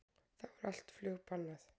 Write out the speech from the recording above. Þá er allt flug bannað